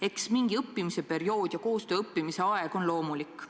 Eks mingi õppimise, ka koostöö õppimise aeg on loomulik.